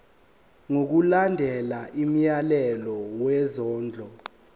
ngokulandela umyalelo wesondlo